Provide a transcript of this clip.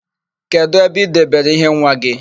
Kedụ ebe i debere íhé nwa gị?